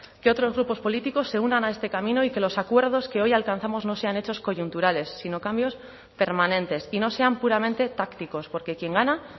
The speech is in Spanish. que otros grupos políticos se unan a este camino y que los acuerdos que hoy alcanzamos no sean hechos coyunturales sino cambios permanentes y no sean puramente tácticos porque quien gana